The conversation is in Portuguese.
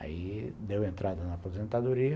Aí deu entrada na aposentadoria.